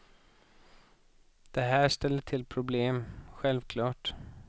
Det här ställer till problem, självklart.